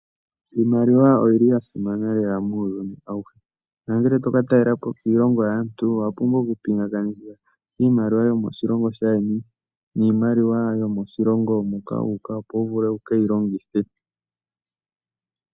Iimaliwa oyili ya simana lela muuyuni awuhe nongele toka talelapo kiilongo yaantu owapumbwa oku pingakanitha iimaliwa yomoshilongo shaayeni niimaliwa yomoshilongo moka wu uka opo wuvule wukeyi longithe .